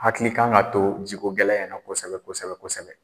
Hakili kan ka to jiko gɛlɛy in na kosɛbɛ kosɛbɛ kosɛbɛ.